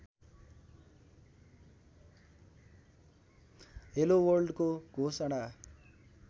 hello वर्ल्डको घोषणा